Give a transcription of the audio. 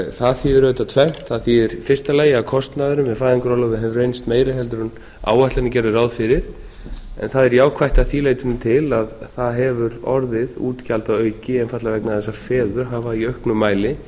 það þýðir auðvitað tvennt það þýðir í fyrsta lagi að kostnaðurinn við fæðingarorlofið hefur reynst meiri heldur en áætlanir gerðu ráð fyrir en það er jákvætt að því leytinu til að það hefur orðið útgjaldaauki einfaldlega vegna þess að feður hafa í auknum mæli